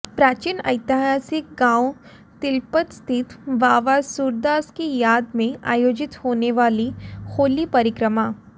प्राचीन ऐतिहासिक गांव तिलपत स्थित बाबा सूरदास की याद में आयोजित होने वाली होली परिक्रमा